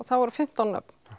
það voru fimmtán nöfn